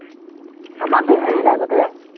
আমাৰ বিহালীত আগতে